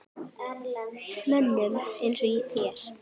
Mönnum eins og þér?